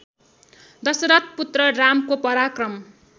दशरथ पुत्र रामको पराक्रम